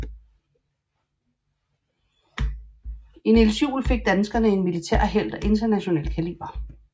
I Niels Juel fik danskerne en militærhelt af international kaliber